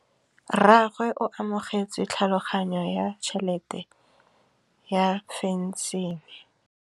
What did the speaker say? Rragwe o amogetse tlhatlhaganyô ya tšhelête ya phenšene.